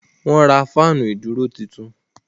Wọ́n ra fáànù ìdúró tuntun.